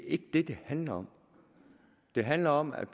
ikke det det handler om det handler om at